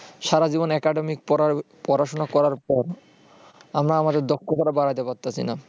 সারাজীবন academic পড়াশোনা করার পর আমরা আমাদের দক্ষতা বাড়াতে পারছি না